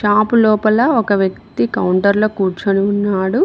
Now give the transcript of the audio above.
ఆపు లోపల ఒక వ్యక్తి కౌంటర్లో కూర్చొని ఉన్నాడు.